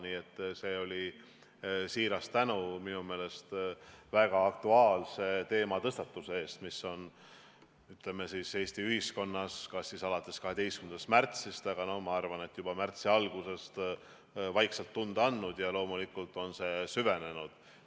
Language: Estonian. Nii et see oli siiras tänu minu meelest väga aktuaalse teematõstatuse eest, mis on, ütleme siis, Eesti ühiskonnas kas alates 12. märtsist, aga ma arvan, et juba märtsi algusest vaikselt tunda andnud, ja loomulikult on see süvenenud.